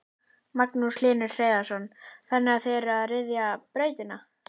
Magnús Hlynur Hreiðarsson: Þannig að þið eruð að ryðja brautina?